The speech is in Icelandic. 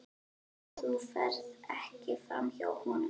Þú ferð ekki framhjá honum.